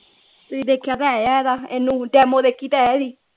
ਤੁਸੀਂ ਦੇਖਿਆ ਤੇ ਹੈ ਇਹਦਾ demo ਦੇਖੀ ਤੇ ਹੈ ਇਹਦੀ